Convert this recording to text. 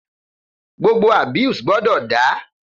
Gbogbo abuse gbọdọ da!